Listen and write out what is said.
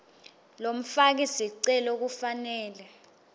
lomfaki sicelo kufanele